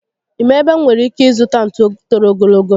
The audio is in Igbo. Ị ma ebe m nwèrè ike ịzụta ntú toro ogologo?